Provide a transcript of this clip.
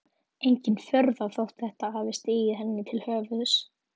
Engin furða þótt þetta hafi stigið henni til höfuðs.